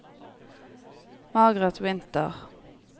Margareth Winther